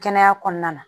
Kɛnɛya kɔnɔna na